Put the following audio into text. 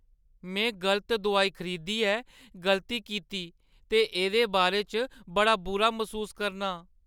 में गलत दोआई खरीदियै गलती कीती ते एह्दे बारे च बड़ा बुरा मसूस करनां।